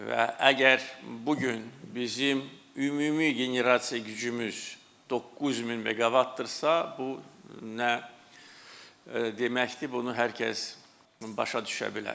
Və əgər bu gün bizim ümumi generasiya gücümüz 9000 meqavatdırsa, bu nə deməkdir, bunu hər kəs başa düşə bilər.